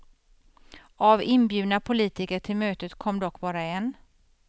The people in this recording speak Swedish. Av inbjudna politiker till mötet kom dock bara en.